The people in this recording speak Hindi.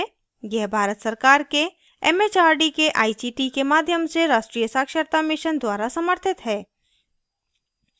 यह भारत सरकार के एमएचआरडी के आईसीटी के माध्यम से राष्ट्रीय साक्षरता mission द्वारा समर्थित है